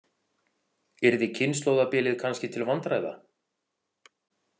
Yrði kynslóðabilið kannski til vandræða?